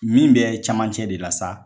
Min bɛ caman cɛ de la sa